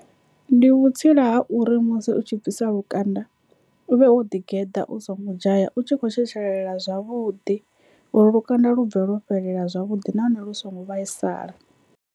Ndi vhutsila ha uri musi u tshi bvisa lukanda u vhe wo ḓi geḓa u songo dzhaya u tshi kho tshetshelela zwavhuḓi uri lukanda lu bve lwo fhelela zwavhuḓi nahone lu songo vhaisala.